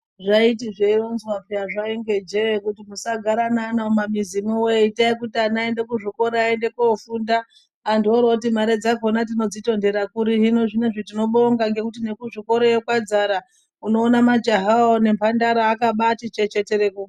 Zvaiti zvei ronzwa peya zvainge jee kuti musa gara ne ana mu mamizi mwo wee itai kuti vana aende ku zvikora aende ko funda antu wori woti mare dzakona tinodzi tondera kuri hino zvinezve tino bonga ngekuti neku zvikoroyo kwa dzara uno ona majaha wo ne mbandara aka baiti chechetere.